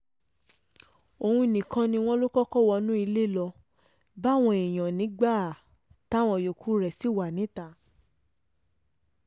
òun nìkan ni wọ́n lọ kọ́kọ́ wọnú ilé lọ́ọ́ bá àwọn èèyàn nígbà táwọn yòókù rẹ̀ ṣì wà níta